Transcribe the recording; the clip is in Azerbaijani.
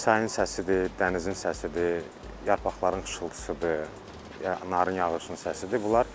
Çayın səsidir, dənizin səsidir, yarpaqların xışıltısıdır, narın yağışın səsidir.